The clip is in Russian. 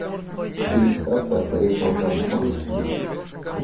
фильм сказка о царе салтане можешь включить